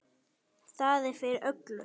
Það er fyrir öllu.